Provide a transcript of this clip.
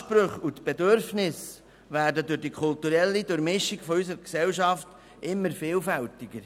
Die Ansprüche und die Bedürfnisse werden durch die kulturelle Durchmischung unserer Gesellschaft immer vielfältiger.